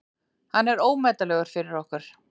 Hann er ómetanlegur fyrir okkur.